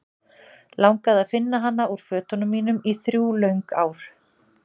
Langaði að finna hana úr fötunum mínum í þrjú löng ár.